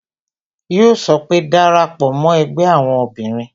Yo sọ pé "Dara pò mo ẹgbẹ́ àwọn obìnrin"